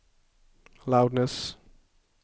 loudness